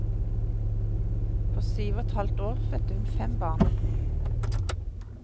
På syv og et halvt år fødte hun fem barn.